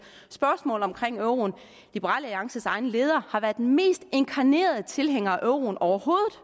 spørgsmål om euroen liberal alliances egen leder har været den mest inkarnerede tilhænger af euroen overhovedet